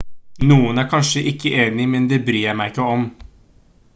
noen er kanskje ikke enig men det bryr jeg meg ikke om